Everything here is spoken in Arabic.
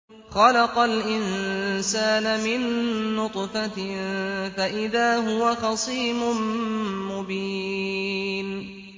خَلَقَ الْإِنسَانَ مِن نُّطْفَةٍ فَإِذَا هُوَ خَصِيمٌ مُّبِينٌ